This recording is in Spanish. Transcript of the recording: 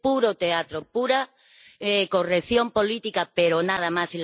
Es puro teatro, pura corrección política, pero nada más.